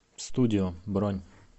студио бронь